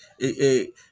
E e